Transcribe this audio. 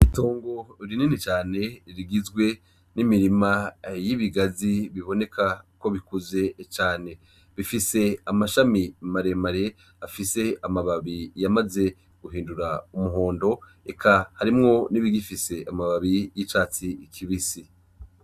Itongo rinini cane rigizwe n'imirima y'ibigazi biboneka ko bikuze cane bifise amashami maremare afise amababi yamaze guhindura umuhondo eka harimwo nibi gifise amababi y'icatsi kibisi .